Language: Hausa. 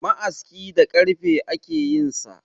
Ma'aski da karfe ake yinsa